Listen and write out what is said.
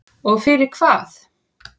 Og fyrir hvað?